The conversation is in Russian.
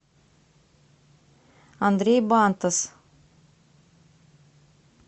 андрей бантос